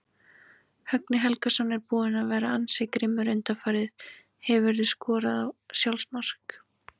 Högni Helgason er búinn að vera ansi grimmur undanfarið Hefurðu skorað sjálfsmark?